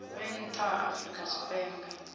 vhe nnḓa ha afrika tshipembe